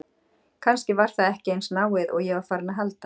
Kannski var það ekki eins náið og ég var farinn að halda!